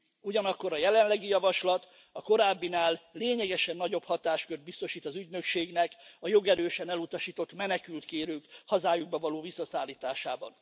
Ugyanakkor a jelenlegi javaslat a korábbinál lényegesen nagyobb hatáskört biztosít az Ügynökségnek a jogerősen elutasított menekültkérők hazájukba való visszaszállításában.